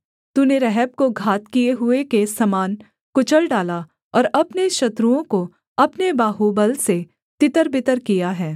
तूने रहब को घात किए हुए के समान कुचल डाला और अपने शत्रुओं को अपने बाहुबल से तितरबितर किया है